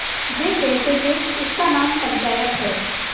वे कहते थेइसका नाम पंचायत है